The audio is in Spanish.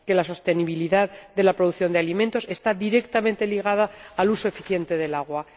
que la sostenibilidad de la producción de alimentos está directamente ligada al uso eficiente del agua.